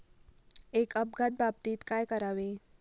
एक अपघात बाबतीत काय करावे?